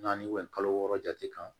Naani kalo wɔɔrɔ jate kan